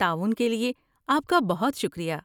تعاون کے لیے آپ کا بہت شکریہ۔